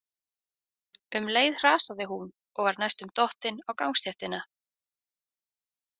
Um leið hrasaði hún og var næstum dottin á gangstéttina.